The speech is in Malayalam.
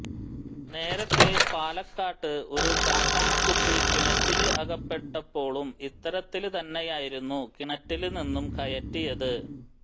നേരത്തെ പാലക്കാട് ഒരു കാട്ടാനക്കുട്ടി കിണറ്റില് അകപ്പെട്ടപ്പോളും ഇത്തരത്തില് തന്നെയായിരുന്നു കിണറ്റില് നിന്നും കയറ്റിയത്